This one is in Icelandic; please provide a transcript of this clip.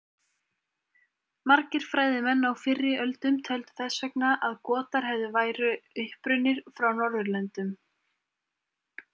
Margir fræðimenn á fyrri öldum töldu þess vegna að Gotar hefðu væru upprunnir frá Norðurlöndum.